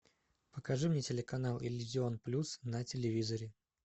покажи мне канал иллюзион плюс на телевизоре